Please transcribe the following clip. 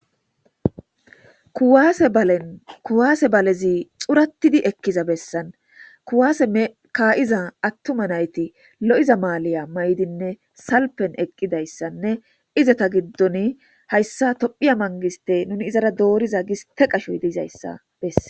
Kuwaase ballen kuwase balezi xuratid Eliza besan kuwaase ka'iza atuma nayti lo'iza maliya mayidimne salpen eqi eqidaysannne izeta gidon haysabtiphiya mangiste nuni dooriza giste qachoy dizaysa beses.